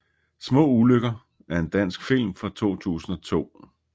Små ulykker er en dansk film fra 2002